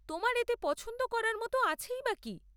তোমার এতে পছন্দ করার মতো আছেই বা কি?